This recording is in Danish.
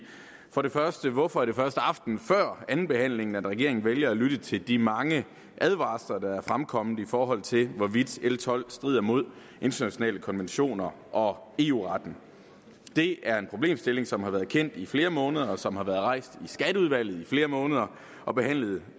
for det første hvorfor er det først aftenen før andenbehandlingen at regeringen vælger at lytte til de mange advarsler der er fremkommet i forhold til hvorvidt l tolv strider mod internationale konventioner og eu retten det er en problemstilling som har været kendt i flere måneder og som har været rejst i skatteudvalget i flere måneder og behandlet